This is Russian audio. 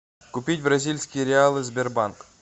купить бразильские реалы сбербанк